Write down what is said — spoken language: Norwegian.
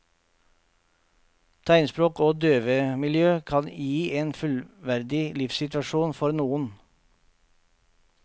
Tegnspråk og døvemiljø kan gi en fullverdig livssituasjon for noen.